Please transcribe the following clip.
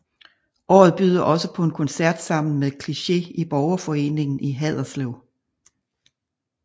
Året byder også på en koncert sammen med Kliché i borgerforeningen i Haderslev